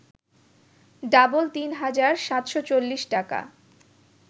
double ৩ হাজার ৭৪০ টাকা